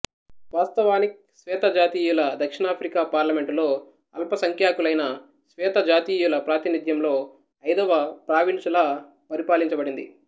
వాస్తవానిక్ శ్వేతజాతీయుల దక్షిణ ఆఫ్రికా పార్లమెంటులో అల్పసంఖ్యాకులైన శ్వేతజాతీయుల ప్రాతినిధ్యంలో ఐదవ ప్రావీన్సు లా పరిపాలించబడింది